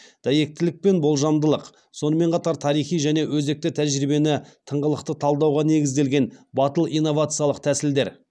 дәйектілік пен болжамдылық сонымен қатар тарихи және өзекті тәжірибені тыңғылықты талдауға негізделген батыл инновациялық тәсілдер